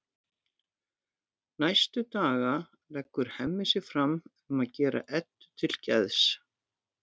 Næstu daga leggur Hemmi sig fram um að gera Eddu til geðs.